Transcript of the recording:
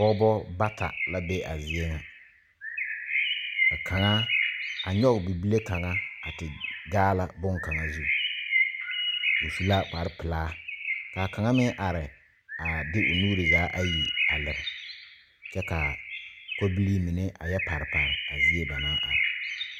Pɔgebo bata la be a zie ŋa, ka kaŋa a nyoŋ bibile kaŋa a te gaala bon kaŋa zu o su la kpare pelaa kaa kaŋa meŋ are a de o nuure zaa ayi leri kyɛ kaa kɔbilee mine a yɛ pari pari a zie ba naŋ are.